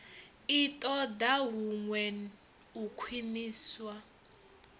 i ṱoḓa huṅwe u khwiṋiswa